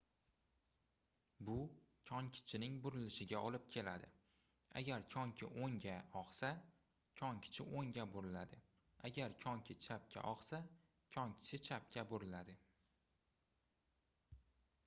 bu konkichining burilishiga olib keladi agar konki oʻngga ogʻsa konkichi oʻngga buriladi agar konki chapga ogʻsa konkichi chapga buriladi